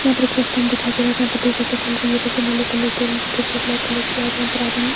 यहां पर एक बस स्टैंड दिखाई दे रहा है जहां पर दो बसें चल रही हैं बस नीले कलर की और उनकी खिड़कियां ब्लैक कलर की और यहां पर आदमी--